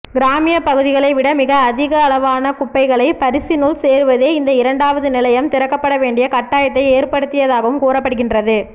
கிராமிய பகுதிகளை விட மிக அதிகளவான குப்பைகள் பரிஸினுள் சேருவதே இந்த இரண்டாவது நிலையம் திறக்கப்பவேண்டிய கட்டாயத்தை ஏற்படுத்தியதாகவும் கூறப்படுகின்றது